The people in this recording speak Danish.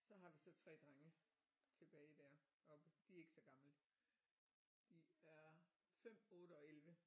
Så har vi så 3 drenge tilbage der oppe de er ikke så gamle de er 5 8 og 11